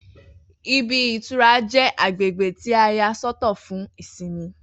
Ibi -ìtura jẹ́ agbègbè tí à yà sọ́ tọ̀ fún ìsinmi.